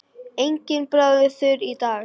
Enginn þráður þurr í dag.